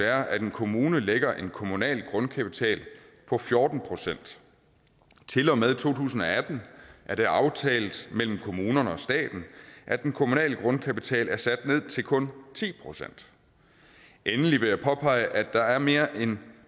er at en kommune lægger en kommunal grundkapital på fjorten procent til og med to tusind og atten er det aftalt mellem kommunerne og staten at den kommunale grundkapital er sat ned til kun ti procent endelig vil jeg påpege at der er mere end